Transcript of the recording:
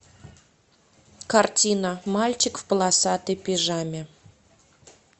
картина мальчик в полосатой пижаме